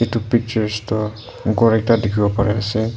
edu pictures toh ghor ekta dikhibo pariase.